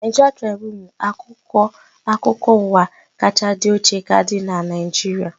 Naịjiria Tribunu bụ akwụkwọ akụkọ ụwa kachaa dị ochie ka dịnu n'Naijiria